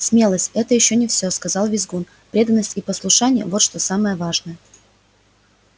смелость это ещё не все сказал визгун преданность и послушание вот что самое важное